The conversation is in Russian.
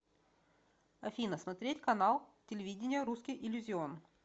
афина смотреть канал телевидения русский иллюзион